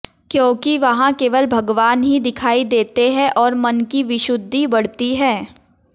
क्योंकि वहां केवल भगवान ही दिखाई देते हैं और मन की विशुद्धि बढती है